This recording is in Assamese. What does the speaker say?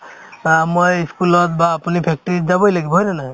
বা মই ই school ত বা আপুনি factory ত যাবই লাগিব হয় না নাই